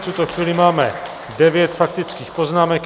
V tuto chvíli máme devět faktických poznámek.